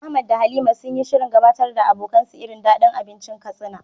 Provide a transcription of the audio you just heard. Ahmad da Halima sun yi shirin gabatar da abokansu irin dadin abincin Katsina.